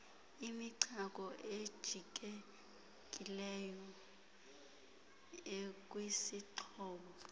imichako ejijekileyo ekwisixhobo